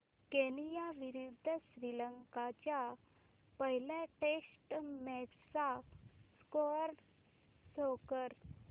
Kenya विरुद्ध श्रीलंका च्या पहिल्या टेस्ट मॅच चा स्कोअर शो कर